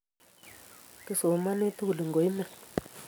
Kisomani tugul ngoimen